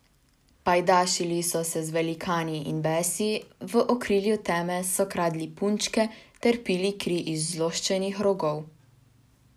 Pajdašili so se z velikani in besi, v okrilju teme so kradli punčke ter pili kri iz zloščenih rogov.